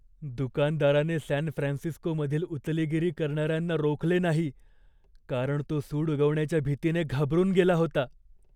दुकानदाराने सॅन फ्रान्सिस्कोमधील उचलेगिरी करणाऱ्यांना रोखले नाही, कारण तो सूड उगवण्याच्या भीतीने घाबरून गेला होता.